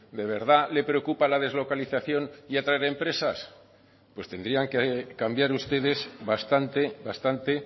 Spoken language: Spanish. de verdad le preocupa la deslocalización y atraer empresas pues tendrían que cambiar ustedes bastante bastante